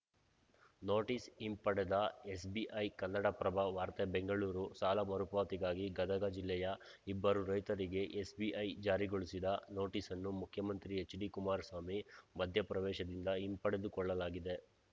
notice ಹಿಂಪಡೆದ SBI Kannadaprabha ವಾರ್ತೆ ಬೆಂಗಳೂರು ಸಾಲ ಮರುಪಾವತಿಗಾಗಿ ಗದಗ ಜಿಲ್ಲೆಯ ಇಬ್ಬರು ರೈತರಿಗೆ ಎಸ್‌ಬಿಐ ಜಾರಿಗೊಳಿಸಿದ ನೋಟಿಸನ್ನು ಮುಖ್ಯಮಂತ್ರಿ ಎಚ್‌ಡಿಕುಮಾರಸ್ವಾಮಿ ಮಧ್ಯಪ್ರವೇಶದಿಂದ ಹಿಂಪಡೆದುಕೊಳ್ಳಲಾಗಿದೆ